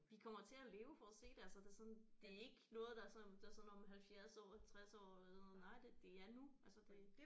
Vi kommer til at leve for at se det altså det er sådan det er ikke noget der er sådan der er sådan om 70 år om 60 år eller noget nej det det er nu altså det